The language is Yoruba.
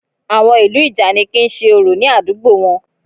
Àwọn ìlú ìjànikin ń ṣe orò ní àdúgbò wọn